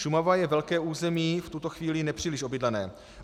Šumava je velké území, v tuto chvíli nepříliš obydlené.